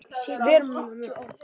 Vala og Þóra.